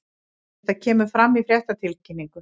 Þetta kemur fram í fréttatilkynningu